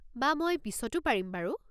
বা মই পিছতো পাৰিম বাৰু।